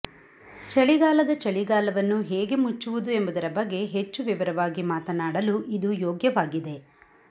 ಚಳಿಗಾಲದ ಚಳಿಗಾಲವನ್ನು ಹೇಗೆ ಮುಚ್ಚುವುದು ಎಂಬುದರ ಬಗ್ಗೆ ಹೆಚ್ಚು ವಿವರವಾಗಿ ಮಾತನಾಡಲು ಇದು ಯೋಗ್ಯವಾಗಿದೆ